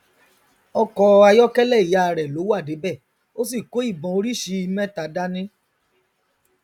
ọkọ ayọkẹlẹ ìyá rẹ ló wà débẹ ó sì kó ibọn oríṣìí mẹta dání